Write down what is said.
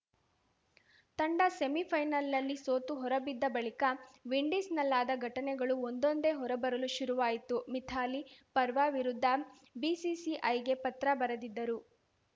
ತಂಡ ಸೆಮಿಫೈನಲ್‌ನಲ್ಲಿ ಸೋತು ಹೊರಬಿದ್ದ ಬಳಿಕ ವಿಂಡೀಸ್‌ನಲ್ಲಾದ ಘಟನೆಗಳು ಒಂದೊಂದೇ ಹೊರಬರಲು ಶುರುವಾಯಿತು ಮಿಥಾಲಿ ಪರ್ವಾ ವಿರುದ್ಧ ಬಿಸಿಸಿಐಗೆ ಪತ್ರ ಬರೆದಿದ್ದರು